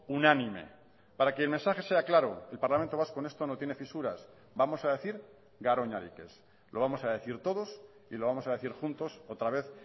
unánime para que el mensaje sea claro el parlamento vasco en esto no tiene fisuras vamos a decir garoñarik ez lo vamos a decir todos y lo vamos a decir juntos otra vez